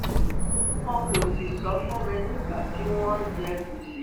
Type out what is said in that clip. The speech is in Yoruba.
wọn kò sì sọ fún mi nígbà tí wọ́n ń jẹ gbèsè